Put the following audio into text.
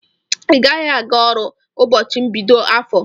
Igaghi aga ọrụ ụbọchi mbido afọ!!